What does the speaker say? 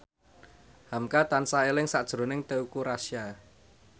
hamka tansah eling sakjroning Teuku Rassya